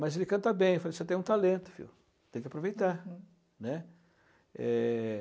Mas ele canta bem, falei você tem um talento filho, tem que aproveitar, né. Uhum. É...